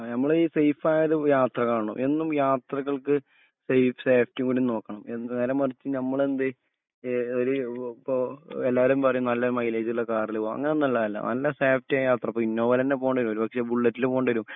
ആ നമ്മൾ ഈ സേഫായൊരു യാത്രാവണം എന്നും യാത്രകൾക്ക് സേഫ് സേഫ്റ്റി കൂടി നോക്കണം എന്ത് നേരമറിച്ഛ് ഞമ്മളെന്ദ് ഏഹ് ഒര് ഒ പ്പൊ എല്ലാരും പറീം നല്ല മൈലേജ് ഉള്ള കാറിൽ പോവ അങ്ങനൊന്നുള്ളതല്ല നല്ല സേഫ്റ്റി യാത്രപോവ് ഇപ്പൊ ഇന്നോവേലെന്നെ പോണ്ടേരും ഒരുപക്ഷെ ബുള്ളറ്റ്ല് പോണ്ടേരും